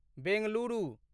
Bengaluru